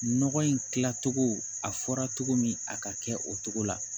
Nɔgɔ in kilacogo a fɔra cogo min a ka kɛ o cogo la